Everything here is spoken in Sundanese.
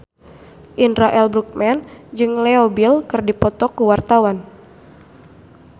Indra L. Bruggman jeung Leo Bill keur dipoto ku wartawan